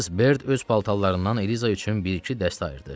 Missis Berd öz paltarlarından Eliza üçün bir-iki dəstə ayırdı.